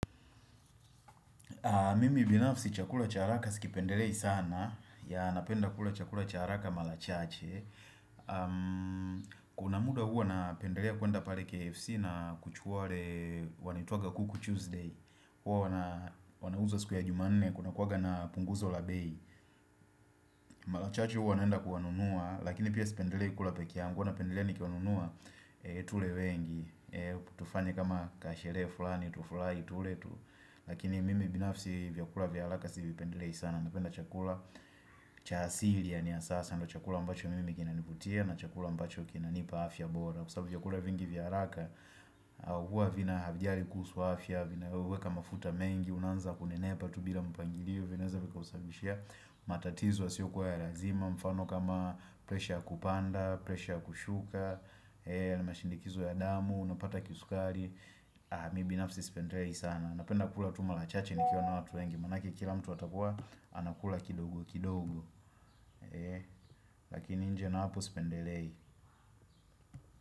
Mimi binafsi chakula cha haraka si kipendelei sana napenda kula chakula cha haraka mala chache Kuna muda huwa napendelea kuenda pare KFC na kuchukuwa ware wanaitwaga kuku Tuesday Huwa wanauza siku ya jumanne kuna kuwaga na punguzo la bei Mala chache huwa naenda kuwanunua Lakini pia sipendelei kula pekeangu huwa napendelea nikiwanunua tule wengi tufanye kama kasherehe fulani tufulai tule tu Lakini mimi binafsi vyakula vya halaka si vipendelei sana Napenda chakula cha asili yani ya sasa ndio chakula ambacho mimi kinanivutia na chakula ambacho kinanipa afya bora Kwa sabu vyakula vingi vya haraka Huwa vinajari kuhusu afya Vinaoweka mafuta mengi Unaanza kunenepa tu bila mpangilio vinaeza vikakusabishia matatizo yasio kuwa ya razima mfano kama presha kupanda presha kushuka na shinikizo ya damu Unapata kisukari Mimi binafsi sipendelei sana napenda kula tu mala chache nikiwa na watu wengi. Manake kila mtu atakua anakula kidogo kidogo. Lakini nje na hapo sipendelei.